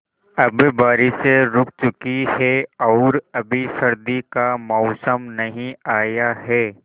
अब बारिशें रुक चुकी हैं और अभी सर्दी का मौसम नहीं आया है